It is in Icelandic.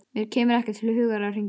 Mér kemur ekki til hugar að hringja.